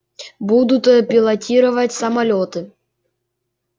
будут пилотировать самолёты